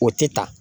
O tɛ ta